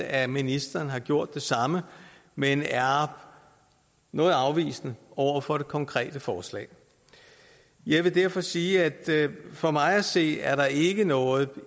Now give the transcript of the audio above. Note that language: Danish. at ministeren har gjort det samme men er noget afvisende over for det konkrete forslag jeg vil derfor sige at for mig at se er der ikke noget